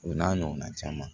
O n'a ɲɔgɔnna caman